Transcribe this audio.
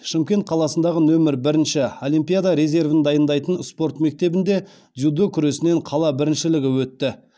шымкент қаласындағы нөмір бірінші олимпиада резервін дайындайтын спорт мектебінде дзюдо күресінен қала біріншілігі өтті